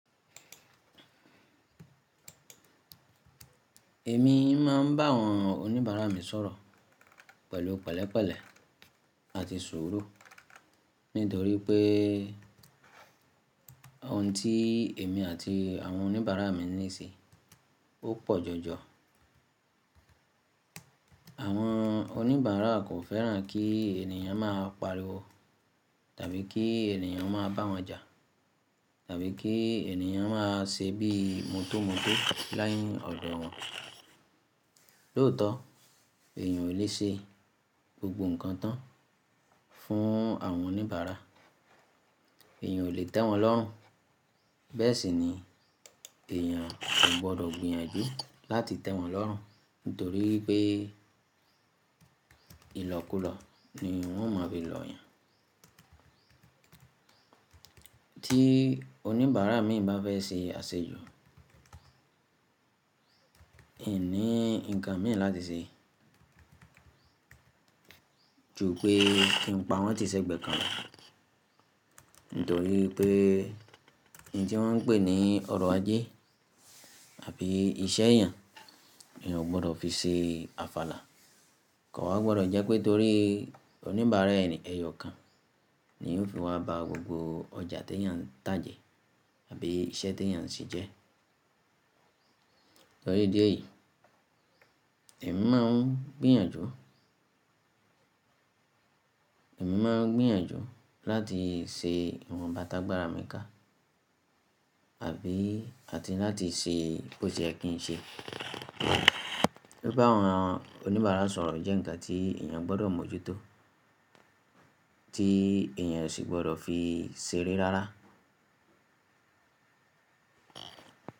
Èmi máa ń bá àwọn oníbàárà mi sọ̀rọ̀ pẹ̀lú pẹ̀lẹ́pẹ̀lẹ́ àti sùúrù nítorí pé ohun tí èmi àti àwọn oníbàárà mi ní sí ó pọ̀ jọjọ. Àwọn oníbàárà kò fẹ́ràn kí ènìyàn máa pariwo tàbí kí ènìyàn máa bá wọn jà tàbí kí ènìyàn máa ṣe bíi mọ́tómótó láìní ọdọ wọn. Lóòótọ́, èèyàn ò lè ṣe gbogbo nǹkan tán fún àwọn oníbàárà. Èèyàn ò lè tẹ́ wọn lọ́rùn. Bẹ́ẹ̀ sì ni èèyàn si gbọdọ̀ gbìyànjú láti tẹ́ wọn lọ́rùn nítorí pé ìlọ́kúlọ́ ni wọ́n ma fi lọ yàn. Tí oníbàárà mi bá fẹ́ ṣe àṣejù, emi ní nǹkan mi láti ṣe. Jú pẹ́ kí n pa wọ́n ti sẹ́gbẹ̀ kan Nítorí pé un tí wọ́n ń pè ní ọrọ̀ ajé àbí iṣẹ́ èèyàn, èèyàn ò gbọdọ̀ fi ṣe àfàlà. Kò wa gbọdọ̀ jẹ́ pé torí oníbàárà ẹni, ẹyọ kan ni yóò fi wá ba gbogbo ọjà tí èèyàn ń tà jẹ àbí iṣẹ́ tí èèyàn ń ṣe jẹ́. Torí díẹ̀ yìí, èmi máa ń gbìyànjú, èmi máa ń gbìyànjú láti ṣe ìwọn bà tà gbára mi ká àbí àti láti ṣe bó sẹ ye kì ń ṣe. Bí bá àwọn oníbàárà sọ̀rọ̀ jẹ́ ǹkan tí èèyàn gbọdọ̀ mọ́jútó, tí èèyàn sì gbọdọ̀ fi ṣeré rárá.